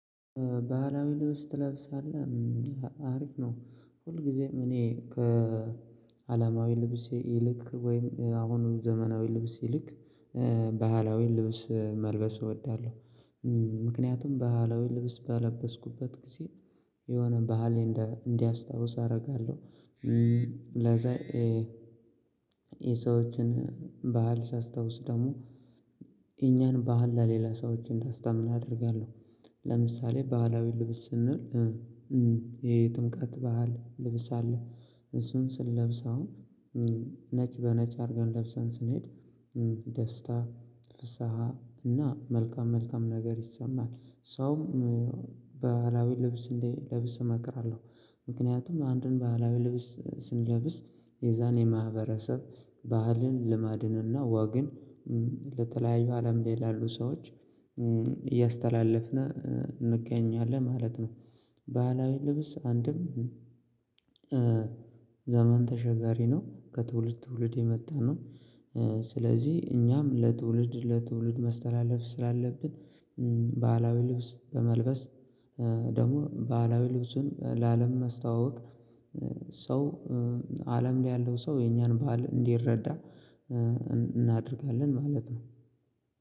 ባህላዊ ልብስ ትለብሳለህ አሪፍ ነው ሁልጊዜም እኔ ከአላማዊ ልብስ ይልቅ ወይም አሁኑ ዘመናዊ ልብስ ይልቅ ባህላዊ ልብስ መልበስ እወዳለሁ። ምክንያቱም በአላዊ ልብስ በለበስኩበት ጊዜ የሆነ በሀል እንዲያስታውስ አደርጋለሁ። ለዛ የሰዎችን ባህል ሳስታውስ ደግሞ የኛን ባህል ለሌላ ሰዎች እንዳስታምን አደርጋለሁ። ለምሳሌ ባህላዊ ልብስ ስንል የጥምቃት ባህል ልብስ አለ እሱን ስንለብስ አሁን ነጭ በነጭ አድርገን ለብሰን ስንሄድ ደስታ ፍስሃ እና መልካም መልካም ነገር ይሰማል። ሰውም በሃላዊ ልብስ እንዲለብስ እመክራለሁ። ምክንያቱም አንድን ባህላዊ ልብስ ስንለብስ የዛን የማህበረሰብ ባህልን ልማድን እና ወግን ለተለያዩ አለም ላይ ያሉ ሰዎች እያስተላለፍነው እንገኛለን ማለት ነው። ባህላዊ ልብስ አንድም ዘመን ተሸጋሪ ነው ከትውልድ ትውልድ የመጣ ነው። ስለዚህ እኛም ለትውልድ ለትውልድ መስተላለፍ ስላለብን ባህላዊ ልብስ በመልበስ ደግሞ ባህላዊ ልብሱን ለአለም ማስተዋወቅ። ሰው አለም ላይ ያለው ሰው የኛን ባህል እንዲረዳ እናደርጋለን ማለት ነው።